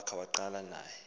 wakhe waqala naye